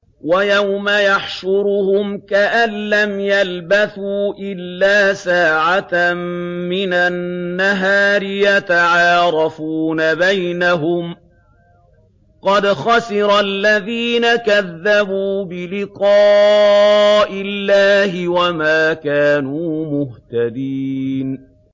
وَيَوْمَ يَحْشُرُهُمْ كَأَن لَّمْ يَلْبَثُوا إِلَّا سَاعَةً مِّنَ النَّهَارِ يَتَعَارَفُونَ بَيْنَهُمْ ۚ قَدْ خَسِرَ الَّذِينَ كَذَّبُوا بِلِقَاءِ اللَّهِ وَمَا كَانُوا مُهْتَدِينَ